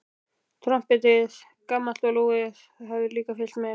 Trompetið, gamalt og lúið, hafði líka fylgt með.